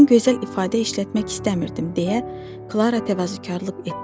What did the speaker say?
Mən gözəl ifadə işlətmək istəmirdim deyə Klara təvazökarlıq etdi.